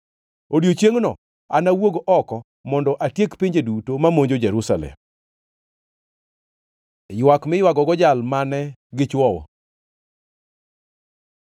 Odiechiengno anawuog oko mondo atiek pinje duto mamonjo Jerusalem. Ywak miywagogo Jal mane gichwowo